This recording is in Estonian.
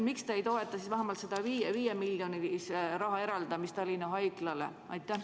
Miks te ei toeta siis vähemalt selle 5 miljoni eraldamist Tallinna Haiglale?